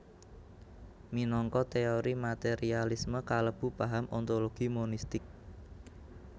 Minangka teori materialisme kalebu paham ontologi monistik